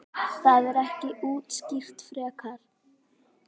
Það er ekki útskýrt frekar.